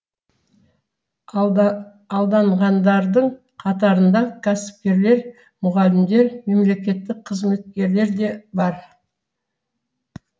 алда алданғандардың қатарында кәсіпкерлер мұғалімдер мемлекеттік қызметкерлер де бар